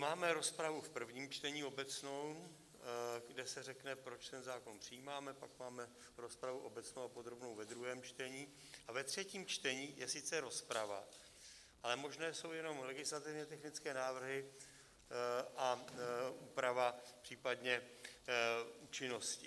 Máme rozpravu v prvním čtení obecnou, kde se řekne, proč ten zákon přijímáme, pak máme rozpravu obecnou a podrobnou ve druhém čtení a ve třetím čtení je sice rozprava, ale možné jsou jenom legislativně technické návrhy a úprava případně účinnosti.